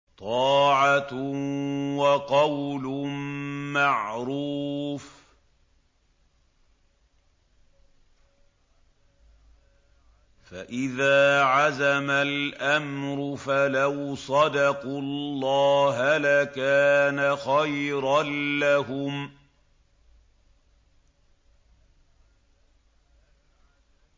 طَاعَةٌ وَقَوْلٌ مَّعْرُوفٌ ۚ فَإِذَا عَزَمَ الْأَمْرُ فَلَوْ صَدَقُوا اللَّهَ لَكَانَ خَيْرًا لَّهُمْ